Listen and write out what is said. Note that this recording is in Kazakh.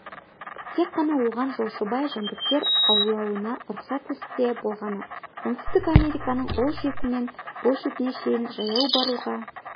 тек қана оған жолшыбай жәндіктер аулауына рұқсат етілсе болғаны оңтүстік американың ол шетінен бұл шетіне шейін жаяу баруға